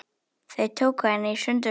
Þeir tóku hana í sundur.